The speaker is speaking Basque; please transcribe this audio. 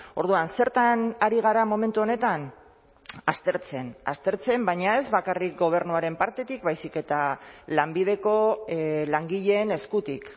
orduan zertan ari gara momentu honetan aztertzen aztertzen baina ez bakarrik gobernuaren partetik baizik eta lanbideko langileen eskutik